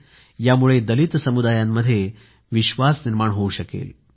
यामुळे दलित समुदायांमध्ये विश्वास निर्माण होऊ शकणार आहे